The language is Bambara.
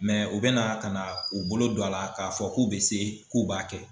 u bɛna ka na u bolo don a la k'a fɔ k'u bɛ se k'u b'a kɛ.